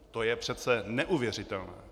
To je přece neuvěřitelné!